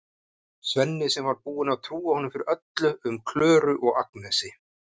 Svenni sem var búinn að trúa honum fyrir öllu um Klöru og Agnesi.